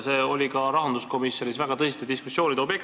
See oli ka rahanduskomisjonis väga tõsiste diskussioonide teema.